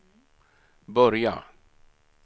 börja